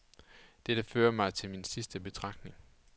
Dette fører mig til min sidste betragtning.